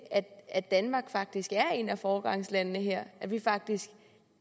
at danmark faktisk er et af foregangslandene her vi er faktisk